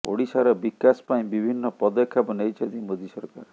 ଓଡ଼ିଶାର ବିକାଶ ପାଇଁ ବିଭିନ୍ନ ପଦକ୍ଷେପ ନେଇଛନ୍ତି ମୋଦି ସରକାର